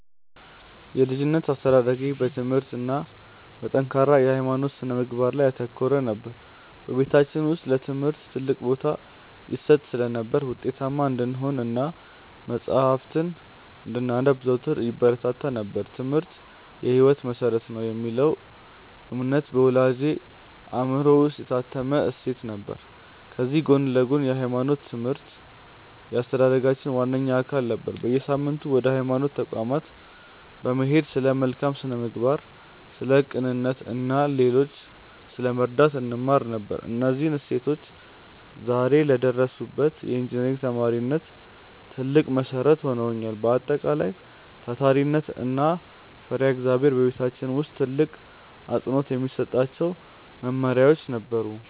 የልጅነት አስተዳደጌ በትምህርት እና በጠንካራ የሃይማኖት ስነ-ምግባር ላይ ያተኮረ ነበር። በቤታችን ውስጥ ለትምህርት ትልቅ ቦታ ይሰጥ ስለነበር፣ ውጤታማ እንድንሆን እና መጽሐፍትን እንድናነብ ዘወትር ይበረታታ ነበር፤ "ትምህርት የህይወት መሰረት ነው" የሚለው እምነት በወላጆቼ አእምሮ ውስጥ የታተመ እሴት ነበር። ከዚህ ጎን ለጎንም የሃይማኖት ትምህርት የአስተዳደጋችን ዋነኛ አካል ነበር። በየሳምንቱ ወደ ሃይማኖት ተቋማት በመሄድ ስለ መልካም ስነ-ምግባር፣ ስለ ቅንነት እና ሌሎችን ስለመርዳት እንማር ነበር። እነዚህ እሴቶች ዛሬ ለደረስኩበት የኢንጂነሪንግ ተማሪነት ትልቅ መሰረት ሆነውኛል። በአጠቃላይ፣ ታታሪነት እና ፈሪሃ እግዚአብሔር በቤታችን ውስጥ ትልቅ አፅንዖት የሚሰጣቸው መመሪያዎቻችን ነበሩ።